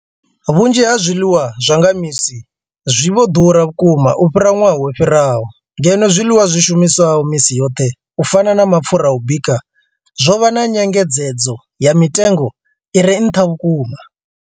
Vhunzhi ha zwiḽiwa zwa nga misi zwi vho ḓura vhukuma u fhira ṅwaha wo fhiraho, ngeno zwiḽiwa zwi shumiswaho misi yoṱhe u fana na mapfhura a u bika zwo vha na nyengedzedzo ya mitengo i re nṱha vhukuma.